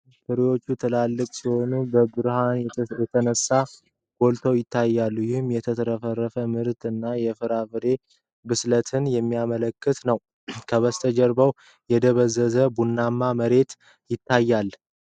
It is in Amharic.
ፍሬዎቹ ትላልቅ ሲሆኑ በብርሃን የተነሳ ጎልተው ይታያሉ፤ ይህም የተትረፈረፈ ምርት እና የፍራፍሬው ብስለት የሚያመለክት ነው። ከበስተጀርባው የደበዘዘ ቡናማ መሬት ይታያል።